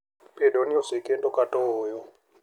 Bedo ni osekendo kata ooyo.